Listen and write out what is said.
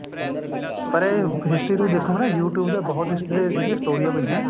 ਪਰ ਇਹ history ਤੁਸੀੰ ਦੇਖੋਗੇ ਨਾ you tube ਤੇ ਬਹੁਤ ਇਹਦੀਆ ਸਟੋਰੀਆ ਪਈਆਂ